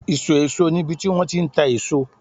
iso eso ni ibi ti won ti n ta eso